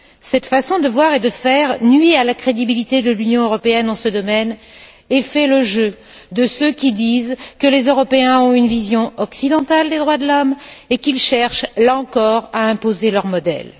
Cette façon de voir et de faire nuit à la crédibilité de l'Union européenne en ce domaine et fait le jeu de ceux qui disent que les Européens ont une vision occidentale des droits de l'homme et qu'ils cherchent, là encore, à imposer leur modèle.